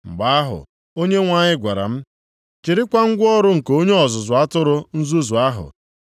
Mgbe ahụ, Onyenwe anyị gwara m, “Chịrịkwa ngwa ọrụ nke onye ọzụzụ atụrụ nzuzu ahụ,